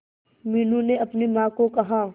मीनू ने अपनी मां को कहा